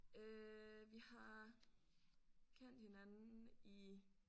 Øh vi har kendt hinanden i